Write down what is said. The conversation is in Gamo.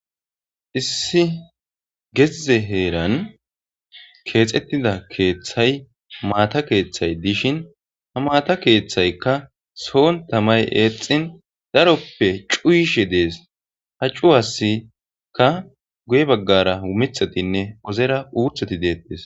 issi geze heeran keexettida keeththay maata keeththay dishin ha maata keeththaykka soon tamay eexxin daroppe cuuyishe dees ha cuwasikka guye baggara umithatinne ozera uuthoti deettes